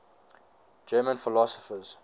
german philosophers